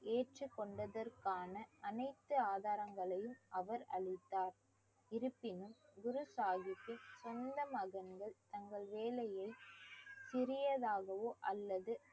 ஏற்றுக் கொண்டதற்கான அனைத்து ஆதாரங்களையும் அவர் அளித்தார் இருப்பினும் குரு சாஹிப்பின் சொந்த மகன்கள் தங்கள் வேலையை சிறியதாகவோ அல்லது